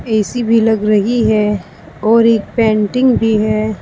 ए C भी लग रही है और एक पेंटिंग भी है।